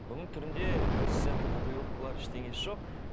бұның түрінде досы сияқты татуировкалар ештеңесі жоқ